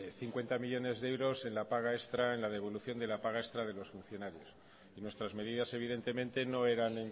cincuenta millónes de euros en la devolución de la paga extra de los funcionarios nuestras medidas evidentemente no eran